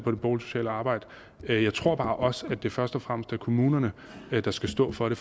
på det boligsociale arbejde men jeg tror bare også at det først og fremmest er kommunerne der skal stå for det